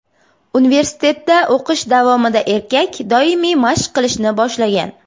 Universitetda o‘qish davomida erkak doimiy mashq qilishni boshlagan.